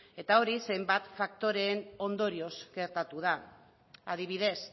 eta hori zenbait faktoreen ondorioz gertatu da adibidez